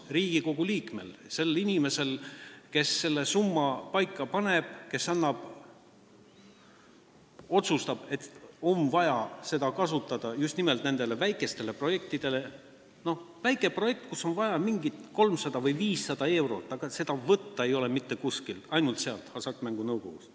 Riigikogu liikmel, sellel inimesel, kes selle summa paika paneb, kes otsustab, et on vaja seda raha kasutada just nimelt nendele väikestele projektidele, millel on vaja 300 või 500 eurot, ei ole seda summat mitte kuskilt võtta, saab võtta ainult sealt, Hasartmängumaksu Nõukogust.